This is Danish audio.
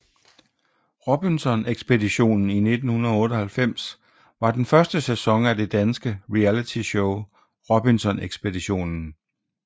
Robinson Ekspeditionen 1998 var den første sæson af det danske realityshow Robinson Ekspeditionen